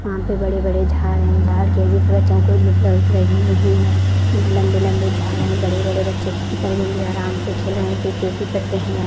यहाँ पे बड़े-बड़े झाड़ हैं झाड़ की वजह से बच्चों को धुप लग रही नहीं है लम्बे लम्बे झाड़ हैं बड़े बड़े बच्चे आराम से खेल रहे हैं सूखे भी पत्ते हैं यहाँ।